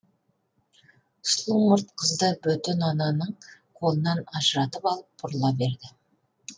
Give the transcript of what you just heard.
сұлу мұрт қызды бөтен ананың қолынан ажыратып алып бұрыла берді